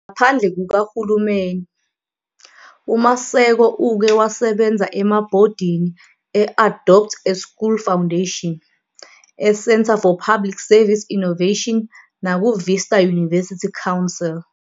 Ngaphandle kukahulumeni, uMaseko uke wasebenza emabhodini e-Adopt a School Foundation, eCentre for Public Service Innovation nakuVista University Council.